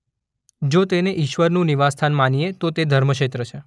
જો તેને ઇશ્વરનું નિવાસસ્થાન માનીએ તો તે ધર્મક્ષેત્ર છે.